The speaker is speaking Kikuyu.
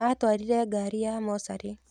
Aatwarire ngari ya mocarī.